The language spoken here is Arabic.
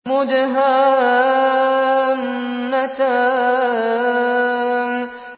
مُدْهَامَّتَانِ